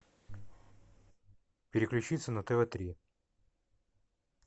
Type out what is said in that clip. переключиться на тв три